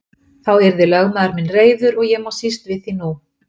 Þá yrði lögmaður minn reiður og ég má síst við því nú.